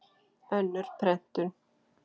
Önnur prentun.